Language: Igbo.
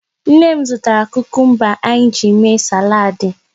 Nne m zụtara kukumba anyị ji mee salaadị.